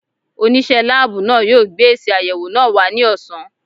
Onise láàbù náà yo gbé èsì ayẹwo náà wá ní ọ̀sán